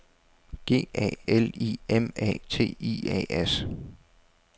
G A L I M A T I A S